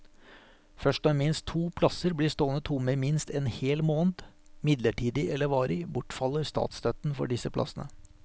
Først når minst to plasser blir stående tomme i minst en hel måned, midlertidig eller varig, bortfaller statsstøtten for disse plassene.